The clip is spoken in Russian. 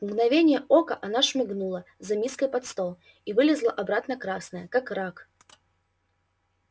в мгновение ока она шмыгнула за миской под стол и вылезла обратно красная как рак